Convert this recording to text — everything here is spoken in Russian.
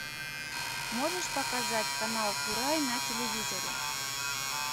можешь показать канал курай на телевизоре